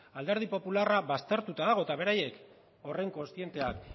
alderdi popularra baztertuta dago eta beraiek horren kontzienteak